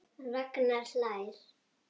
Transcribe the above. Ragnar hlær.